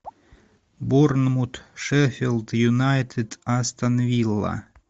борнмут шеффилд юнайтед астон вилла